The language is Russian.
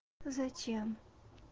зачем